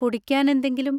കുടിക്കാൻ എന്തെങ്കിലും?